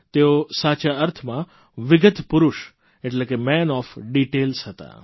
તેઓ સાચા અર્થમાં વિગતપુરૂષ માન ઓએફ ડિટેલ્સ હતા